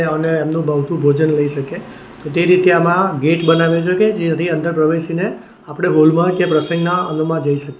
અને અનુભવતું ભોજન લઈ શકે તો તે રીતે આમાં ગેટ બનાવે છે કે જેથી અંદર પ્રવેશીને આપણે હોલ માં કે પ્રસંગના અનુ માં જઈ શકીએ.